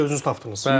Siz özünüz tapdınız.